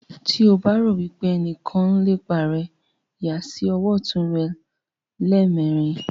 tí o bá rò wípé ẹnìkan ń lépa rẹ yà sí ọwọ́ ọ̀tún rẹ lẹ́ẹ̀mẹrin.